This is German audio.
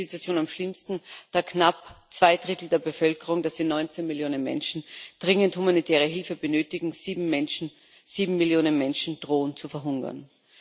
Hier ist die Situation am schlimmsten, da knapp zwei Drittel der Bevölkerung das sind 19 Millionen Menschen dringend humanitäre Hilfe benötigen. Sieben Millionen Menschen drohen zu verhungern.